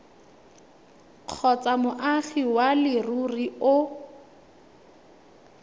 kgotsa moagi wa leruri o